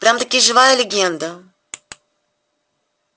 прям-таки живая легенда